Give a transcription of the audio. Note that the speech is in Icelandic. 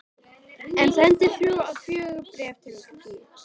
Ég sendi þrjú eða fjögur bréf til